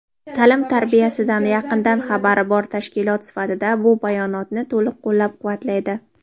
ta’lim-tarbiyasidan yaqindan xabari bor tashkilot sifatida bu bayonotni to‘liq qo‘llab-quvvatlaydi.